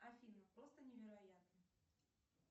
афина просто невероятно